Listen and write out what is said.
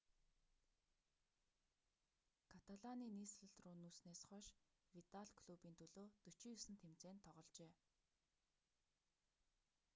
каталаны нийслэл рүү нүүснээс хойш видал клубын төлөө 49 тэмцээнд тогложээ